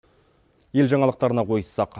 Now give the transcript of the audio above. ел жаңалықтарына ойыссақ